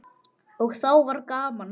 Og þá var gaman.